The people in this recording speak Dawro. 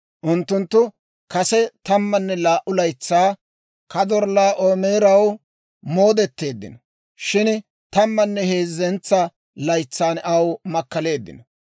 Unttunttu kase tammanne laa"u laytsaa Kadorllaa'oomeraw moodetteeddino; shin tammanne heezzentsa laytsan aw makkaleeddino.